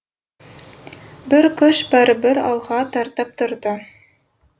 бір күш бәрібір алға тартып тұрды